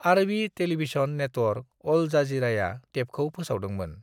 आरबि television network Al जजिराया टेपखौ फोसावदोंमोन।